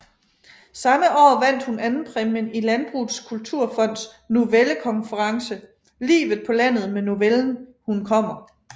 Samme år vandt hun andenpræmien i Landbrugets Kulturfonds novellekonkurrence Livet på landet med novellen Hun kommer